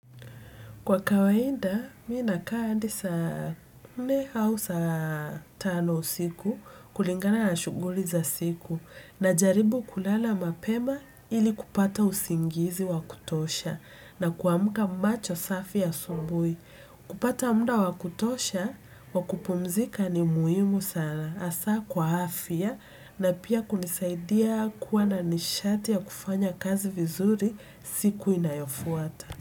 Kwa kawaida, mimi nakaa hadi saa nne au saa tano usiku kulingana na shuguli za siku najaribu kulala mapema ili kupata usingizi wa kutosha na kuamka macho safi asubui. Kupata muda wa kutosha wa kupumzika ni muhimu sana hasa kwa afia na pia kunisaidia kuwa na nishati ya kufanya kazi vizuri siku inayofuata.